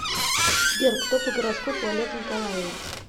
сбер кто по гороскопу олег николаевич